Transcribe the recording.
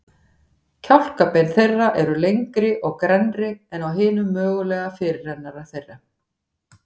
Kjálkabein þeirra eru lengri og grennri en á hinum mögulega fyrirrennara þeirra.